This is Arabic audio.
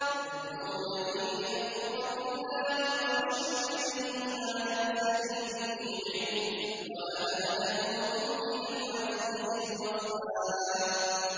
تَدْعُونَنِي لِأَكْفُرَ بِاللَّهِ وَأُشْرِكَ بِهِ مَا لَيْسَ لِي بِهِ عِلْمٌ وَأَنَا أَدْعُوكُمْ إِلَى الْعَزِيزِ الْغَفَّارِ